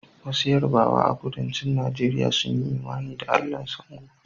Wasu Yarbawa a Kudancin Najeriya sun yi imani da Allahn Sango